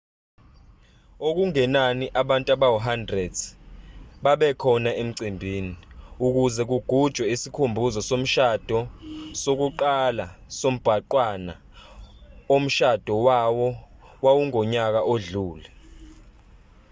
okungenani abantu abawu-100 babekhona emcimbini ukuze kugujwe isikhumbuzo somshado sokuqala sombhanqwana omshado wawo wawungonyaka odlule